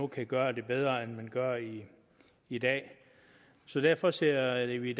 kan gøre det bedre end man gør i i dag derfor ser vi i